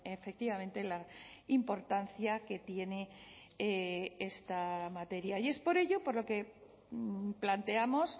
efectivamente la importancia que tiene esta materia y es por ello por lo que planteamos